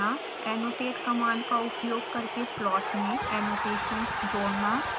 annotate command का उपयोग करके प्लॉट में annotations जोड़ना